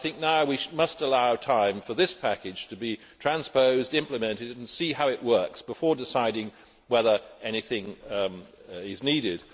I think now we must allow time for this package to be transposed to implement it and see how it works before deciding whether anything is needed.